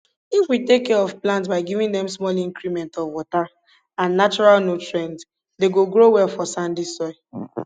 if we take care of plants by giving them small increments of water and natural nutrients they go grow well for sandy soil